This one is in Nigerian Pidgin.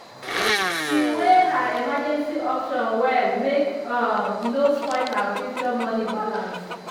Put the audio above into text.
she weigh her emergency options well make um e no spoil her future money balance.